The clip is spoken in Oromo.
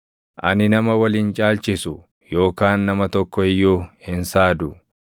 Ani nama wal hin caalchisu; yookaan nama tokko iyyuu hin saadu.